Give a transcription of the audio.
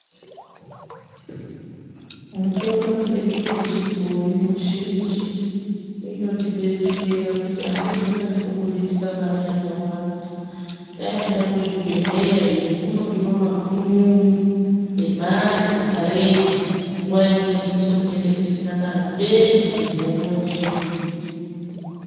Mitombo dzedu dzechibhoyi mizhinji inotidetsera kuti atizonyanyi kubudisa Mari yakawanda taenda kuzvibhedhlera iyo kunodiwa makunun'unu emare dzakareba nguwa imweni isusu tenge tisina kana peni muhomwe mwedu.